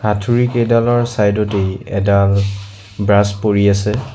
হাথুৰি কেইডালৰ চাইড তেই এডাল ব্ৰাছ পৰি আছে।